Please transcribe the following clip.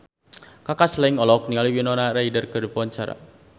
Kaka Slank olohok ningali Winona Ryder keur diwawancara